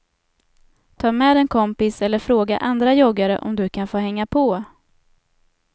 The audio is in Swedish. Ta med en kompis eller fråga andra joggare om du kan få hänga på.